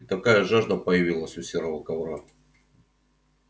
и такая жажда появилась у серого ковра